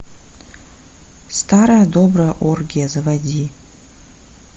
старая добрая оргия заводи